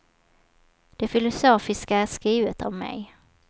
Det filosofiska är skrivet av mig.